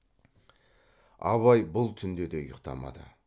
абай бұл түнде де ұйықтамады